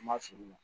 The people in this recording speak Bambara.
An ma fili u ma